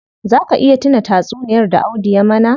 Zaa ka iya tuna tatsuniyar da Audu ya mana?